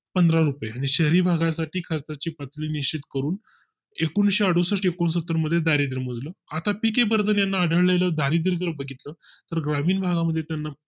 पंधरा रुपये आणि शहरी भागा साठी खर्चाची पातळी निश्चित करून एकूणशे अडुसष्ठ एकोणसत्तर मध्ये दारिद्य मोजलं आता पिके वर्धन यांचा आढळेल दारिद्य जर बघितलं तर ग्रामीण भागा मध्ये त्यांना